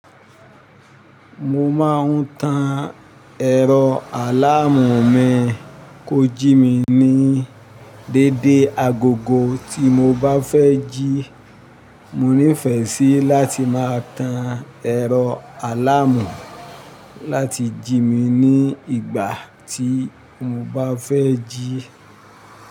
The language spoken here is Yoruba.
Mo máa ń tan ẹ̀rọ aláàmù mi kójí mi ní dédé agogo ti mo bá fẹ́ jí. Mo nífẹ̀ẹ́ sí láti máa tan ẹ̀rọ aláàmù láti jí mi ní ìgbà tí mo bá fẹ́ jí.